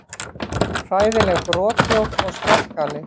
Hræðileg brothljóð og skarkali.